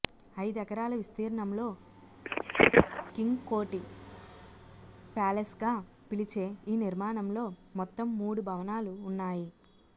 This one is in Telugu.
ఐదెకరాల విస్తీర్ణంలో కింగ్కోఠి ప్యాలెస్గా పిలిచే ఈ నిర్మాణంలో మొత్తం మూడు భవనాలు ఉన్నాయి